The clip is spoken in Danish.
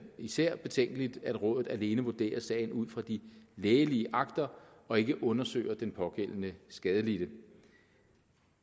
især er betænkeligt at rådet alene vurderer sagen ud fra de lægelige akter og ikke undersøger den pågældende skadelidte